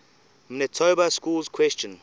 manitoba schools question